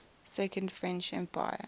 second french empire